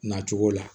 Na cogo la